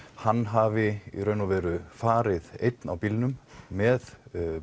hann hafi í raun og veru farið einn á bílnum með